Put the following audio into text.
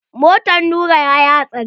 Motan Nura yayi hatsari.